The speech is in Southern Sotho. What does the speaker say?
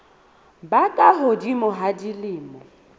ba ka hodimo ho dilemo